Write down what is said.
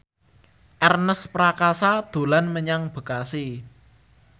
Ernest Prakasa dolan menyang Bekasi